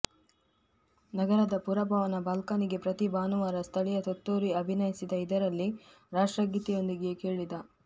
ನಗರದ ಪುರಭವನ ಬಾಲ್ಕನಿಗೆ ಪ್ರತಿ ಭಾನುವಾರ ಸ್ಥಳೀಯ ತುತ್ತೂರಿ ಅಭಿನಯಿಸಿದ ಇದರಲ್ಲಿ ರಾಷ್ಟ್ರಗೀತೆಯೊಂದಿಗೆ ಕೇಳಿದ